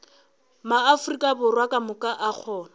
maafrika borwa kamoka a kgona